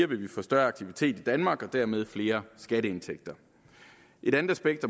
vil vi få større aktivitet i danmark og dermed flere skatteindtægter et andet aspekt